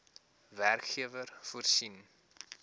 werkgewer voorsien